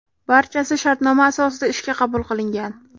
Barchasi shartnoma asosida ishga qabul qilingan.